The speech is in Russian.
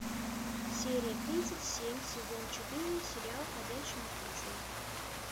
серия тридцать семь сезон четыре сериал ходячие мертвецы